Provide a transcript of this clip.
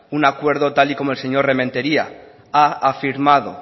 un acuerdo tal y como el señor remetería ha afirmado